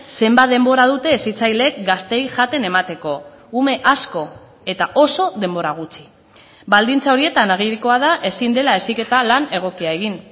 zenbat denbora dute hezitzaileek gazteei jaten emateko ume asko eta oso denbora gutxi baldintza horietan agirikoa da ezin dela heziketa lan egokia egin